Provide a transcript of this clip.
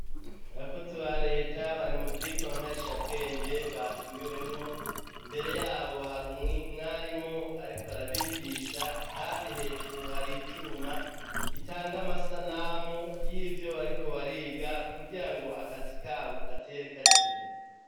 Abakozi ba reta bari mu vyigwa nkarisha bwenge batumiwemwo imbere yabo hari umwarimu ariko arabigisha kandi hejuru hari icuma gitanga amasanamu yivyo bariko bariga kugirango akazi kabo gatere kaja imbere.